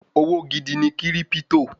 Òwò gidi ni kírípítò